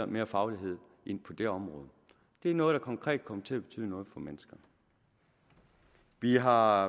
mere faglighed ind på det område det er noget der konkret kommer til at betyde noget for mennesker vi har